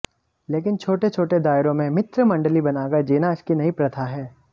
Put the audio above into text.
लेकिन छोटे छोटे दायरों में मित्रमंडली बनाकर जीना इसकी नई प्रथा है